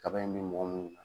Kaba in bi mɔgɔ mun nan.